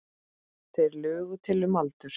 Þeir lugu til um aldur.